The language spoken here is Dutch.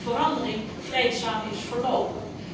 verandering vreedzaam is verlopen.